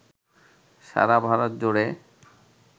সারা ভারত জুড়ে